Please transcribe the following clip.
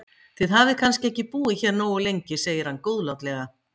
Þið hafið kannski ekki búið hér nógu lengi segir hann góðlátlega.